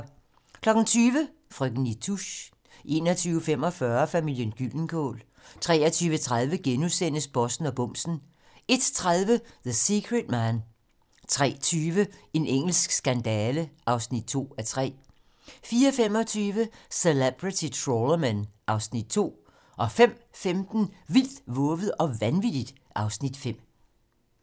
20:00: Frøken Nitouche 21:45: Familien Gyldenkål 23:30: Bossen og bumsen * 01:30: The Secret Man 03:20: En engelsk skandale (2:3) 04:25: Celebrity Trawlermen (Afs. 2) 05:15: Vildt, vovet og vanvittigt (Afs. 5)